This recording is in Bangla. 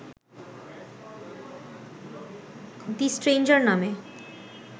দ্য স্ট্রেঞ্জার নামে